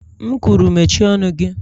M kwuru mechie ọnụ gị.!